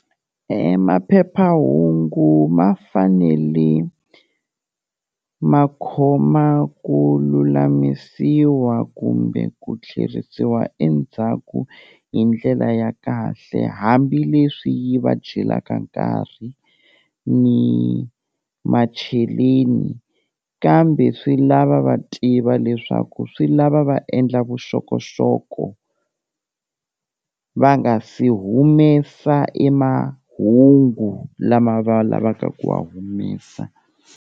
E maphephahungu ma fanele ma khoma ku lulamisiwa kumbe ku tlherisiwa endzhaku hi ndlela ya kahle, hambileswi yi va jelaka nkarhi ni macheleni kambe swi lava va tiva leswaku swi lava va endla vuxokoxoko va nga se humesa e mahungu lama va lavaka ku wa humesa.